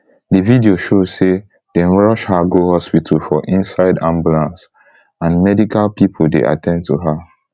di video show say dem rush her go hospital for inside ambulance and medical pipo dey at ten d to her